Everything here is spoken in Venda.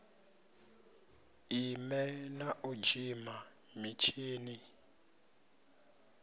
ime na u dzima mutshini